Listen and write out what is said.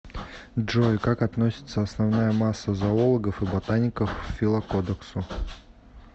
джой как относится основная масса зоологов и ботаников к филокодексу